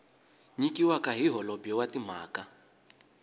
nyikiwaka hi holobye wa timhaka